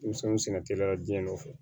Denmisɛnninw sɛgɛn teliya jiɲɛ nɔfɛ